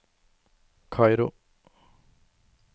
Kairo